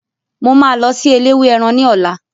Mo máa lọ sí eléwé ẹran ní ọ̀la